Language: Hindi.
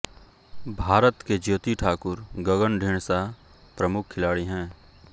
भारत के ज्योति ठाकुर गगन ढींडसा प्रमुख खिलाडी हैं